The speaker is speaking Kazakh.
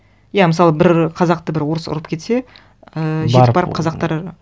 иә мысалы бір қазақты бір орыс ұрып кетсе ііі барып жетіп барып қазақтар